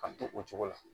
Ka to o cogo la